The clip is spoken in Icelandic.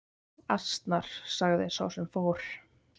Asnar sagði sá sem fór.